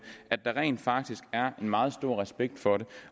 rent faktisk er en meget stor respekt for det